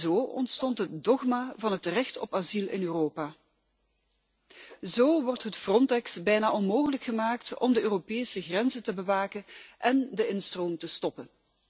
Zo ontstond het dogma van het recht op asiel in Europa. Zo wordt het Frontex bijna onmogelijk gemaakt om de Europese grenzen te bewaken en de instroom te stoppen.